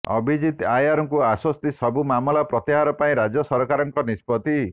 ଅଭିଜିତ୍ ଆୟରଙ୍କୁ ଆଶ୍ୱସ୍ତି ସବୁ ମାମଲା ପ୍ରତ୍ୟାହାର ପାଇଁ ରାଜ୍ୟ ସରକାରଙ୍କ ନିଷ୍ପତ୍ତି